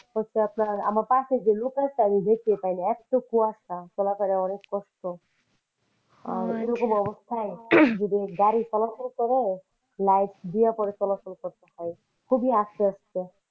হচ্ছে আপনার আমার পাশে যে লোক আছে আমি দেখতে পাইনি এত কুয়াশা, পোলাপানের অনেক কষ্ট আর এরকম অবস্থা যদি গাড়ি চলাচল করে light দিয়ে চলাচল করতে হয় খুবই আস্তে আস্তে।